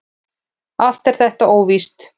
Allt er þetta óvíst.